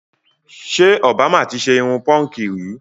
Ṣé òbámà ti ṣe irun púnkì rí?